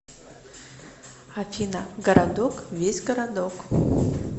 афина городок весь городок